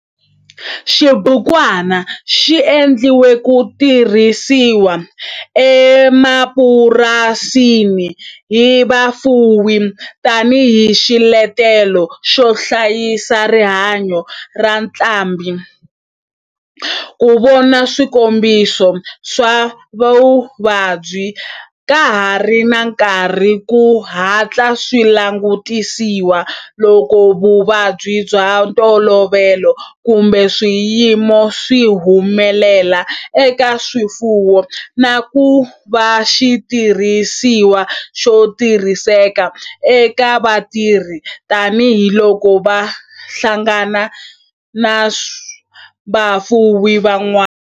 Xibukwana xi endliwe ku tirhisiwa emapurasini hi vafuwi tani hi xiletelo xo hlayisa rihanyo ra ntlhambhi, ku vona swikombiso swa vuvabyi ka ha ri na nkarhi ku hatla swi langutisiwa loko vuvabyi bya ntolovelo kumbe swiyimo swi humelela eka swifuwo, na ku va xitirhisiwa xo tirhiseka eka vatirhi tani hi loko va hlangana na vafuwi van'wana.